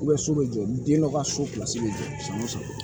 so bɛ jɔ den dɔ ka so bɛ jɔ